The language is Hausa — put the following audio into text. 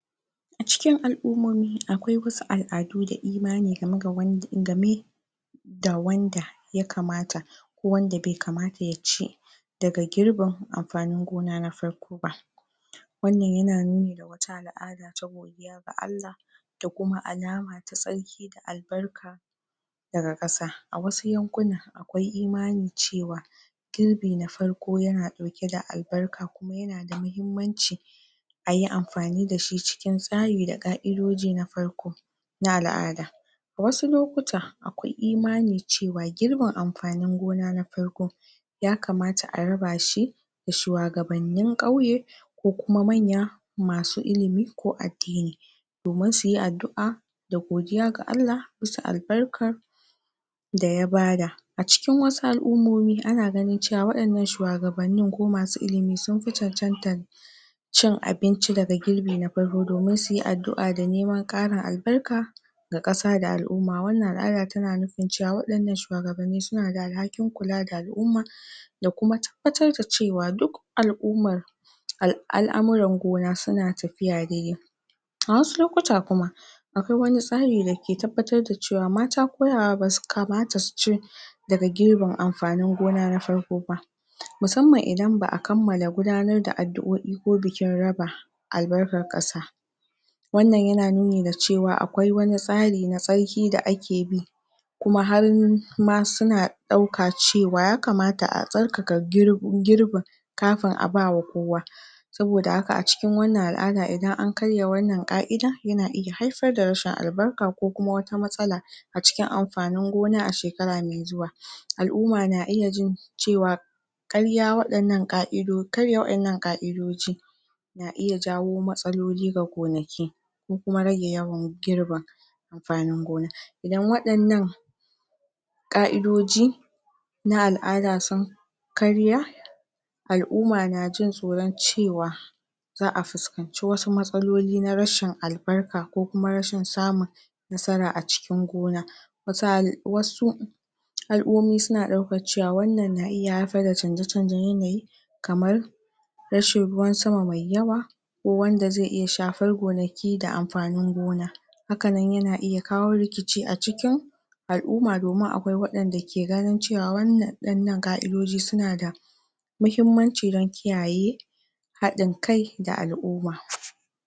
a cikin al'umarmu akwai wasu al'adu da imani ga me ga wan ga me da wanda ya kamata wanda bai kamata ya ce daga girbin amfanin gona na farko ba wannan yana nu ni da wata al'ada ta godiya ga Allah da kuma alama ta tsarki da albarka daga ƙasa a wasu yankuna akwai imanin cewa girbi na farko yana dauke da albarka kuma yana da muhimmanci ayi amfani da shi cikin tsari da ka'idoji na farko na al'ada wasu lokuta akwai imani cewa girbin amfanin gona na farko ya kamata a raba shi ga shuwagabannin ƙauye ko kuma manya masu ilimi ko addini domin suyi addu'a da godiya ga Allah bisa albarkar da ya bada a cikin wasu al'ummomi ana ganin cewa wa'yannan shuwagabannin ko masu ilimin sunfi cancantar cin abinci daga girbi na farko domin suyi addu'a da neman ƙarin albarka ga ƙasa da al'umma wannan al'ada tana nufin cewa waɗannan shuwagbanni suna da alhakin kula da al'umma da kuma tabbatar da cewa duk al'ummar al'amuran gona suna tafiya dai dai a wasu lokuta kuma akwai wanitsari dake tabbatar da cewa mata ko yara basu kamata suci daga girbin amfanin gona na farko ba musamman idan ba'a kammala gudanar da adduo'i ko bikin raba albarkar ƙasa wannan yana nuni da cewa akwai wani tsari na tsarki da ake bi kuma har ma suna ɗauka cewa ya kamata a tsarkaka girbin kafin a bawa kowa saboda haka a cikin wannan al'ada idan an karya wannan ka'ida yana iya haifar da rashin albarka ko kuma wata matsala a cikin amfanin gona a shekara mai zuwa al'umma na iya jin cewa ƙarya waɗannan ƙa'ido karya waɗannan ƙa'idoji na iya jawo matsaloli ga gonaki ko kuma rage yawan girba amfanin gona idan waɗannan ƙa'idoji na al'ada sun karya al'umma na jin tsoron cewa za'a fuskanci wasu matsaloli na rashin albarka ko kuma rashin samun nasara a cikin gona wasu hali wasu al'ummomi suna ɗaukar cewa wannan na iya haifar da canje canjen yanayi kamar kamar rashin ruwan sama mai yawa ko wanda zai iya shafar gonaki da amfanin gona haka nan yana iya kawo rikici a cikin al'umma domin akwai waɗanda ke ganin cewa wannan ɗannan ka'idoji suna da muhimmanci don kiyaye haɗin kai da al'umma